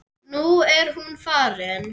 Nú er hún farin.